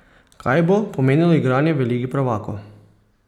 Kaj bo pomenilo igranje v Ligi prvakov?